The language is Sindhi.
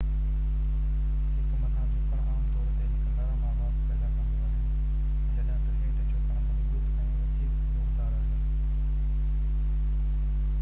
هڪ مٿان-جهڪڻ عام طور تي هڪ نرم آواز پيدا ڪندو آهي جڏهن ته هيٺ-جهڪڻ مضبوط ۽ وڌيڪ زوردار آهي